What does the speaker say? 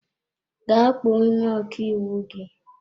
Gaa kpọọ onye ọkàiwu gị!